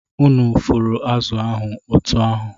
Unu fụrụ azụ̀ ahụ otú ahụ!